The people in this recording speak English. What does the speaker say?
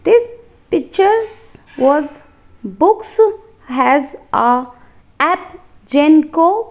this pictures was books has a app .